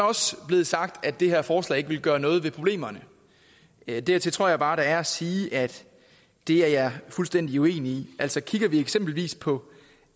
også blevet sagt at det her forslag ikke vil gøre noget ved problemerne dertil tror jeg bare der er at sige at det er jeg fuldstændig uenig i altså kigger vi eksempelvis på